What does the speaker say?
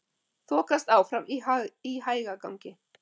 Þokast áfram í hægagangi